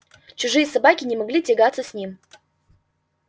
чужие собаки не могли тягаться с ним